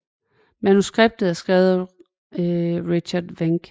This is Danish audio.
Manuskriptet er skrevet af Richard Wenk